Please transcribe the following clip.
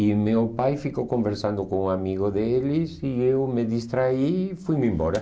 E meu pai ficou conversando com um amigo deles e eu me distraí e fui-me embora.